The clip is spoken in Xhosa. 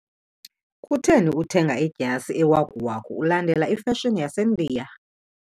Kutheni uthenge idyasi ewakuwaku ulandela ifashoni yaseNdiya?